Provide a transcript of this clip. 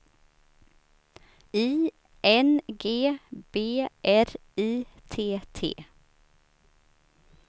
I N G B R I T T